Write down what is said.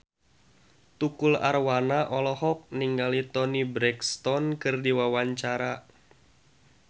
Tukul Arwana olohok ningali Toni Brexton keur diwawancara